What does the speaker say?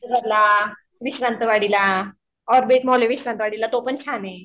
विश्रांतवाडीला तो पण छान आहे.